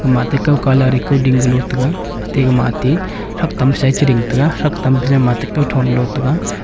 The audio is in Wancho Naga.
ma tik kow kalar pe ding kelo taiga tiga matik saktam sa chi ding tega saktam sa matik tho dow tega.